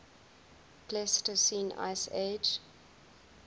pleistocene ice age